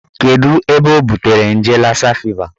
Kedụ ebe o butere nje lassa fever